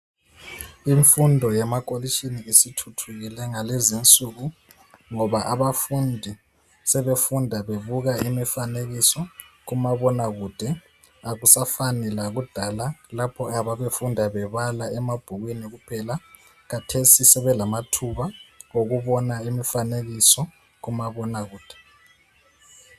Imfundo yemakolitshini isithuthukile ngalezinsuku ngoba abafundi sebefunda bebuka imifanekiso kumabonakude akusafani lakudala lapho ababefunda bebala emabhukwini kuphela khathesi sebelamathuba okubona imfanekiso kumabonakude.